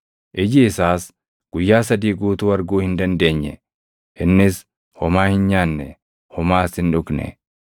Iji isaas Guyyaa sadii guutuu arguu hin dandeenye; innis homaa hin nyaanne; homaas hin dhugne.